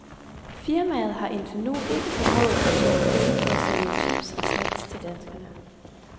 Firmaet har indtil nu ikke formået at tjene penge på at sælge chips og snacks til danskerne.